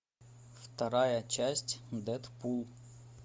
вторая часть дэдпул